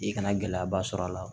I kana gɛlɛyaba sɔrɔ a la